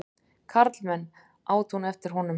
Karlmenn! át hún eftir honum.